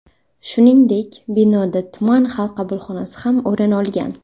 Shuningdek, binoda tuman xalq qabulxonasi ham o‘rin olgan.